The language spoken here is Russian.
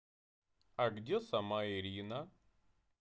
а где сама ирина